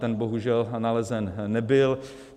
Ten bohužel nalezen nebyl.